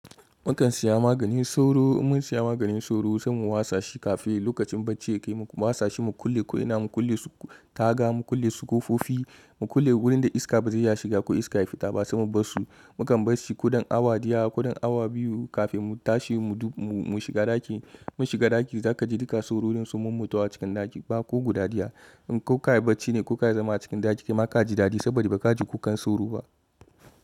Mukan siya maganin sauro, in mun siya maganin sauro sai mu watsa shi kafin lokacin bacci ya kai mu watsa shi mu kulle ko ina, mu kulle su taga, mu kulle su kofofi, mu kulle wurin da iska ba zai iya shiga ko iska ya fita ba sai mu bar su. Mu kan bar shi kudan awa diya, kudan awa biyu kafin mu tashi mu shiga ɗaki. Mun shiga ɗaki za ka ji duka sororin sun mummu ta wa cikin ɗaki ba ko guda daya. In kuka yi bacci ne kuka yi zama cikin ɗaki ki ma ka ji dadi saboda ba ka ji kukan sauro ba.